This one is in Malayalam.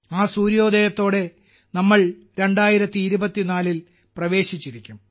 ആ സൂര്യോദയത്തോടെ നാം 2024ൽ പ്രവേശിച്ചിരിക്കും